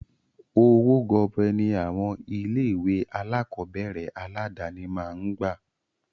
Owó gọbọi ní àwọn ilé ìwé alákọ̀berẹ̀ aládàni máa ń gbà.